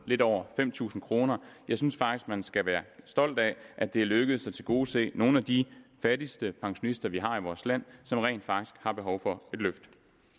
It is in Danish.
lidt over fem tusind kroner jeg synes faktisk man skal være stolt af at det er lykkedes at tilgodese nogle af de fattigste pensionister vi har i vores land som rent faktisk har behov for et løft